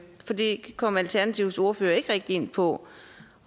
for det kom alternativets ordfører ikke rigtig ind på